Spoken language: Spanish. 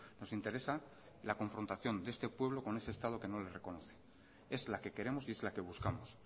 nos interesa la confrontación de este pueblo con ese estado que no les reconoce es la que queremos y es la que buscamos